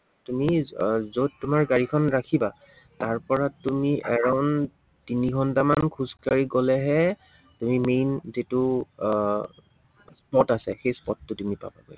তুমি আহ যত তোমাৰ গাড়ীখন ৰাখিবা, তাৰপৰা তুমি around তিনি ঘন্টামান খোজ কাঢ়ি গলেহে তুমি main যিটো আহ spot আছে, সেই spot টো তুমি পাবা।